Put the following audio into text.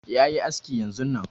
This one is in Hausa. Yayi aski yanzun nan